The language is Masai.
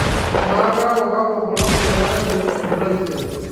amaa keeku kakua bulabul eetae tekisumu taisere